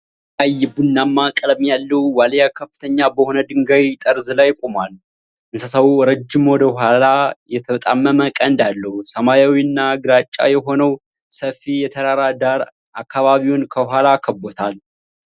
ቀይ ቡናማ ቀለም ያለው ዋልያ ከፍተኛ በሆነ ድንጋይ ጠርዝ ላይ ቆሟል። እንስሳው ረጅም ወደ ኋላ የተጣመመ ቀንድ አለው። ሰማያዊ እና ግራጫ የሆነው ሰፊ የተራራ ዳራ አካባቢውን ከኋላ ከብቦታል።